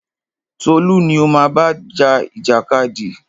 Tolú ni o má bá ja ìjàkadì!